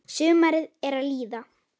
Sumarið er að líða.